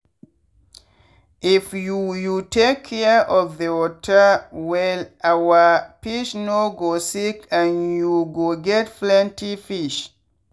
if you you take care of the water wellyour fish no go sick and you go get plenty fish.